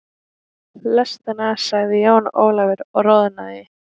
Lestina, sagði Jón Ólafur og roðnaði.